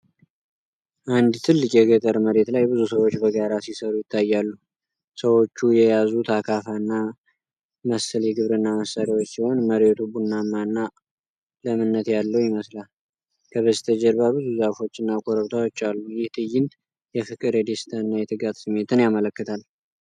አንድ ትልቅ የገጠር መሬት ላይ ብዙ ሰዎች በጋራ ሲሰሩ ይታያሉ። ሰዎቹ የያዙት አካፋና መሰል የግብርና መሳሪያዎች ሲሆን፣ መሬቱ ቡናማ እና ለምነት ያለው ይመስላል። ከበስተጀርባ ብዙ ዛፎችና ኮረብታዎች አሉ። ይህ ትዕይንት የፍቅር፣ የደስታና የትጋት ስሜትን ያመለክታል።